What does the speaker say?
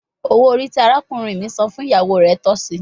Owo ori ti arakunrin mi san fun iyawo re tọsi